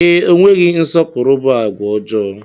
Ee, enweghị nsọpụrụ bụ àgwà ọjọọ.